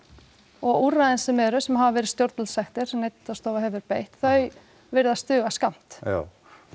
og úrræðin sem eru sem hafa verið stjórnvaldssektir sem Neytendastofa hefur beitt þau virðast duga skammt já